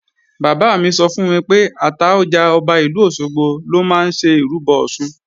Bàbá mi sọ fún mi pé Àtaọjà, Ọba ìlú Òṣogbo lọ máa ń ṣe ìrúbọ Ọ̀ṣun